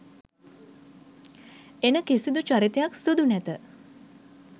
එන කිසිදු චරිතයක් සුදු නැත.